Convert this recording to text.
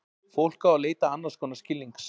Fólk á að leita annars konar skilnings.